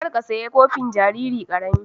Kar ka sayi kofi jariri ƙarami